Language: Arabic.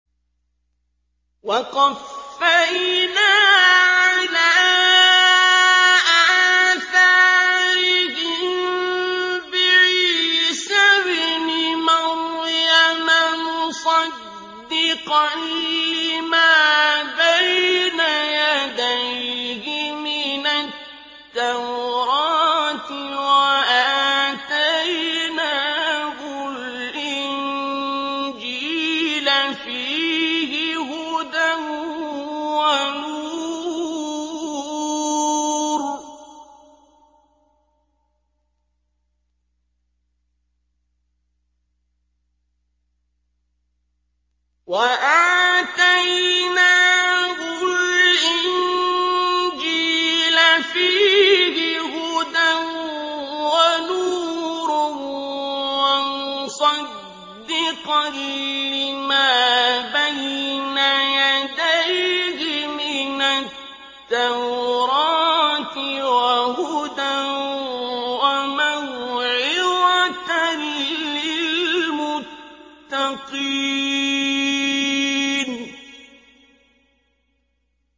وَقَفَّيْنَا عَلَىٰ آثَارِهِم بِعِيسَى ابْنِ مَرْيَمَ مُصَدِّقًا لِّمَا بَيْنَ يَدَيْهِ مِنَ التَّوْرَاةِ ۖ وَآتَيْنَاهُ الْإِنجِيلَ فِيهِ هُدًى وَنُورٌ وَمُصَدِّقًا لِّمَا بَيْنَ يَدَيْهِ مِنَ التَّوْرَاةِ وَهُدًى وَمَوْعِظَةً لِّلْمُتَّقِينَ